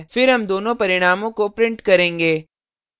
फिर हम दोनों परिणामों को print करेंगे